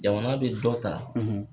Jamana be dɔ ta